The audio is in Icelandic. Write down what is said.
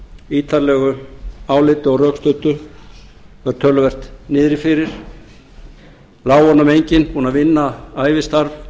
ítarlegu áliti og rökstuddu var töluvert niðri fyrir lái honum enginn búinn að vinna ævistarf